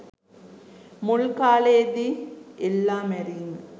මුල් කාලේදී එල්ලා මැරීම